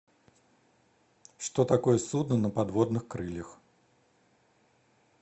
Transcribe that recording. что такое судно на подводных крыльях